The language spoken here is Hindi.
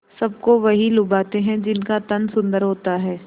सबको वही लुभाते हैं जिनका तन सुंदर होता है